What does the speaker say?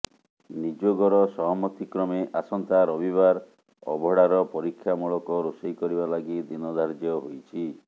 ନିଯୋଗର ସହମତି କ୍ରମେ ଆସନ୍ତା ରବିବାର ଅବଢ଼ାର ପରୀକ୍ଷାମୂଳକ ରୋଷେଇ କରିବା ଲାଗି ଦିନ ଧାର୍ଯ୍ୟ ହୋଇଛି